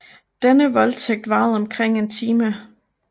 Denne voldtægt varede omkring en time